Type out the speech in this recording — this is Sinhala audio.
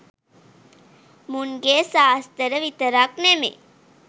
මුන්ගේ සාස්තර විතරක් නෙමෙයි